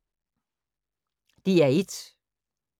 DR1